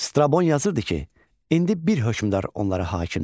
Strabon yazırdı ki, indi bir hökmdar onlara hakimdir.